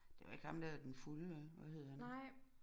Det var ikke ham der den fulde vel hvad hed han